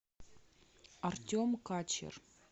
артем качер